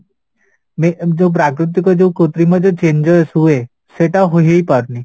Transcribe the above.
ଯୋଉ ପ୍ରାକୃତିକ ଯୋଉ କୃତ୍ରିମ ଯୋଉ changes ହୁଏ ସେଇଟା ହୋଇ ହେଇପାରୁନି